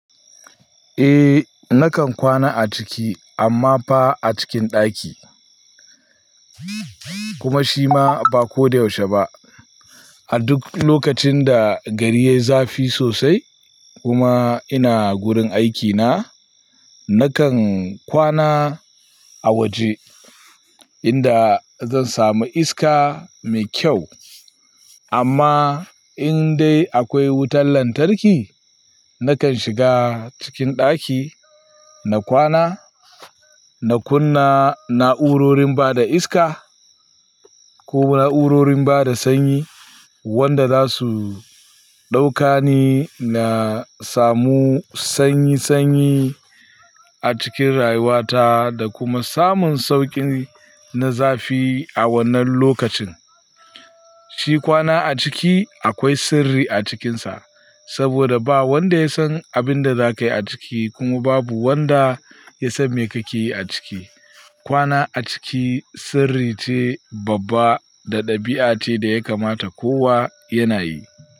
Eh, nakan kwana a ciki amma fa a cikin ɗaki. Kuma shi ma ba ko da yaushe ba. A duk lokacin da gari yai zafi sosai kuma ina gurin aikina, nakan kwana a waje inda zan samu iska mai kyau. Amma in dai akwai wutar lantarki, nakan shiga cikin ɗaki na kwana, na kunna na'urorin bada iska ko na'urorin bada sanyi wanda zasu ɗaukani na samu sanyi sanyi a cikin rayuwata da kuma samun sauƙi na zafi a wannan lokacin. Shi kwana a ciki akwai sirri a cikinsa saboda ba wanda ya san abin da zakayi a ciki kuma babu wanda ya san me kake yi a ciki. Kwana a ciki sirri ce babba da ɗabi'a ce da ya kamata kowa yana yi.